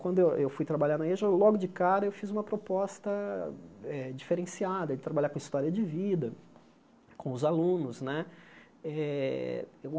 Quando eu eu fui trabalhar na Eja, logo de cara eu fiz uma proposta eh diferenciada, de trabalhar com história de vida, com os alunos né. Eh